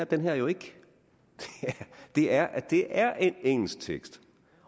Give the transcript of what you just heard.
den her jo ikke det er det er en engelsk tekst